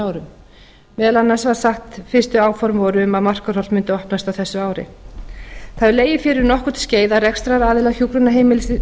árum meðal annars var sagt fyrstu áform voru um að markarholt mundi opnast á þessu ári það hefur legið fyrir um nokkurt skeið að rekstraraðilar hjúkrunarheimilisins